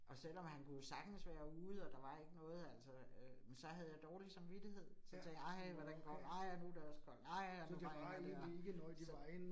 Og selvom han kunne jo sagtens være ude, og der var ikke noget altså øh. Men, så havde jeg dårlig samvittighed, så tænkte ej, hvordan går det, ej, og nu det også koldt, ej, og nu regner det og. Så